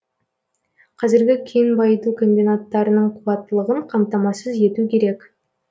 қазіргі кен байыту комбинаттарының қуаттылығын қамтамасыз ету керек